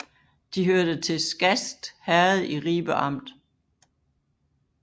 De hørte til Skast Herred i Ribe Amt